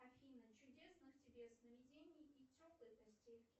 афина чудесных тебе сновидений и теплой постельки